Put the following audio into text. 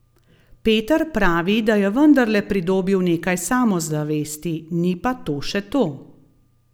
Peter pravi, da je vendarle pridobil nekaj samozavesti, ni pa to še to.